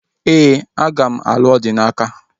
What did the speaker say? Ee, aga m alụ Odinaka